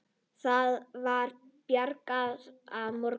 Það var byrjað að morgna.